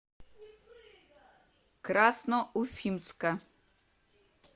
красноуфимска